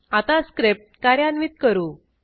आता स्क्रिप्ट कार्यान्वित करू